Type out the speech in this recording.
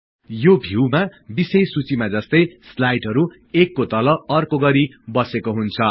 यो भिउमा विषय सूचिमा जस्तै स्लाईडहरु एकको तल अर्को गरि बसेको हुन्छ